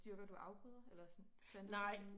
Dyrker du afgrøder eller sådan planter du nogen